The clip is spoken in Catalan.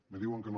me diuen que no